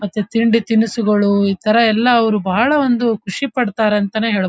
ಮತ್ತೆ ತಿಂಡಿ ತಿನಿಸುಗಳು ಇತರ ಎಲ್ಲ ಅವ್ರು ಬಾಳ ಒಂದು ಖುಷಿ ಪಡ್ತಾರಂತನೇ ಹೇಳ --